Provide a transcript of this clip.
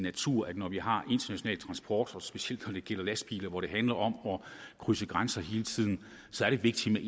natur at når vi har international transport og specielt når det gælder lastbiler hvor det handler om at krydse grænser hele tiden er det vigtigt